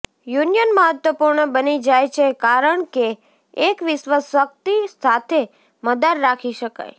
union મહત્વપૂર્ણ બની જાય છે કારણ કે એક વિશ્વ શક્તિ સાથે મદાર રાખી શકાય